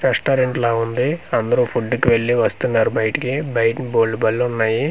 Restaurant లా ఉంది అందరూ ఫుడ్ కు వెళ్లి వస్తు ఉన్నారు బయటికి బయట బోళ్లు బళ్ళు ఉన్నాయి.